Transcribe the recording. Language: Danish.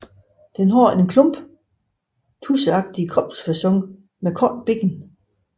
Den har en plump tudseagtig kropsfacon med korte ben